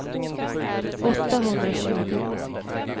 åttahundratjugo